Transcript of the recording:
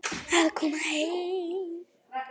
Að koma heim